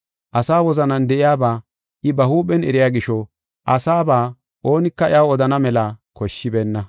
Asa wozanan de7iyaba I ba huuphen eriya gisho asaba oonika iyaw odana mela koshshibeenna.